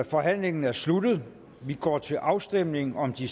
forhandlingen er sluttet vi går til afstemning om de